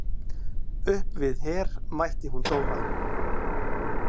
Uppi við Her mætti hún Dóra.